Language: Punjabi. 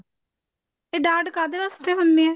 ਤੇ ਡਾਟ ਕਾਹਦੇ ਵਾਸਤੇ ਹੁੰਦੇ ਨੇ ਆ